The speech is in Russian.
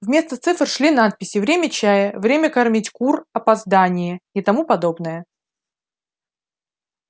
вместо цифр шли надписи время чая время кормить кур опоздание и тому подобное